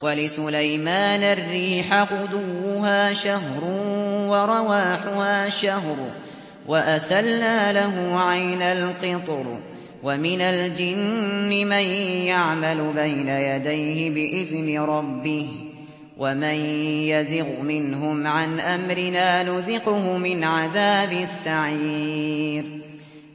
وَلِسُلَيْمَانَ الرِّيحَ غُدُوُّهَا شَهْرٌ وَرَوَاحُهَا شَهْرٌ ۖ وَأَسَلْنَا لَهُ عَيْنَ الْقِطْرِ ۖ وَمِنَ الْجِنِّ مَن يَعْمَلُ بَيْنَ يَدَيْهِ بِإِذْنِ رَبِّهِ ۖ وَمَن يَزِغْ مِنْهُمْ عَنْ أَمْرِنَا نُذِقْهُ مِنْ عَذَابِ السَّعِيرِ